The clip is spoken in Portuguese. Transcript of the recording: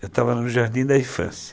Eu estava no Jardim da Infância.